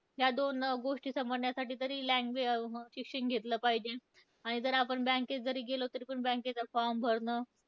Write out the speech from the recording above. या दोन गोष्टी समजण्यासाठी तरी language अं शिक्षण घेतलं पाहिजे, आणि जर आपण bank केत जरी गेलो तरीपण bank चा form भरणं,